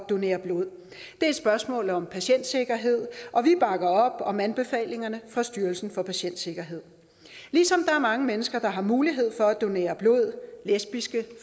donere blod det er et spørgsmål om patientsikkerhed og vi bakker op om anbefalingerne fra styrelsen for patientsikkerhed ligesom der er mange mennesker der har mulighed for at donere blod lesbiske